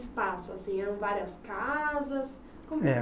O espaço, assim, eram várias casas? Como. É.